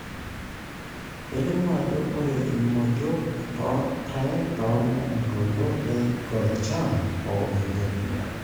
nelimu ajo ore imodiok toorpae toloontoluo le Gojam, o Ethiopia.